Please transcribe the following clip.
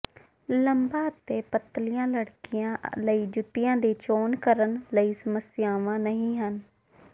ਲੰਬਾ ਅਤੇ ਪਤਲੀ ਲੜਕੀਆਂ ਲਈ ਜੁੱਤੀਆਂ ਦੀ ਚੋਣ ਕਰਨ ਲਈ ਸਮੱਸਿਆਵਾਂ ਨਹੀਂ ਹਨ